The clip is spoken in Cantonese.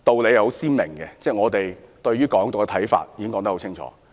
顯而易見，我們對"港獨"的立場十分清楚。